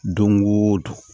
Don o don